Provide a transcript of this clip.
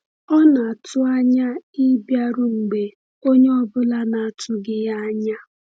Ọ na-atụ anya ịbịaru mgbe onye ọ bụla na-atụghị ya anya.